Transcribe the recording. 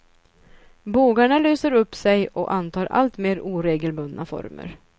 Bågarna löser upp sig och antar alltmer oregelbundna former.